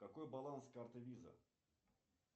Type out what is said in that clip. какой баланс карты виза